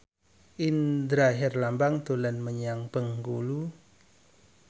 Indra Herlambang dolan menyang Bengkulu